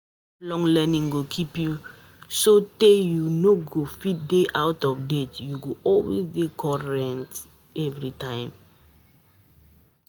Lifelong learning go keep you so tey you no fit dey out of date, u go always dey current.